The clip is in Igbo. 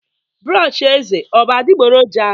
brọsh eze ọ bụ adịgboroja?